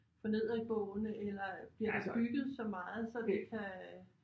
For nedadgående eller bliver der bygget så meget så det kan